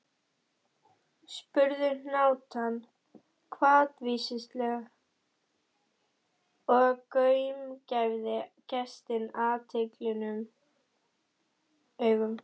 spurði hnátan hvatvíslega og gaumgæfði gestinn athugulum augum.